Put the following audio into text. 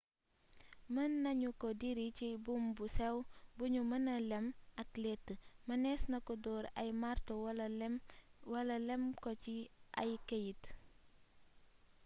mën nanu ko diri ci buum bu sew bu nu mëna lem ak lettë mënees na ko door ay marto wala lem ko ci ay këyit